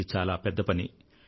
ఇది చాలా పెద్ద పని